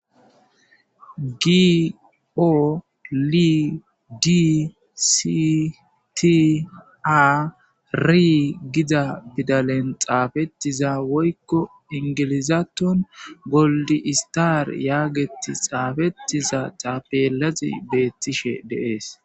Gi o li di si ti a ri giza pidalen xaafettiza woykko ingilizaton goldi istaar yaageti xaafettiza taapelazi beettishe de'es.